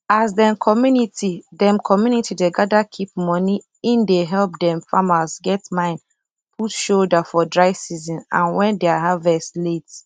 as dem community dem community dey gather keep moneye dey help dem farmers get mind put shoulder for dry season and wen dia harvest late